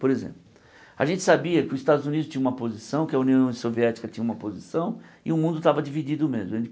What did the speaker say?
Por exemplo, a gente sabia que os Estados Unidos tinham uma posição, que a União Soviética tinha uma posição, e o mundo estava dividido mesmo.